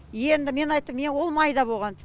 енді мен айттым мен ол майда болған